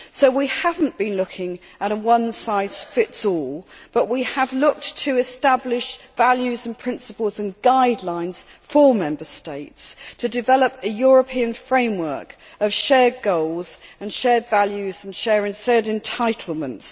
So we have not been looking at a one size fits all' solution, but we have looked to establish values and principles and guidelines for Member States to develop a European framework of shared goals and shared values and shared entitlements.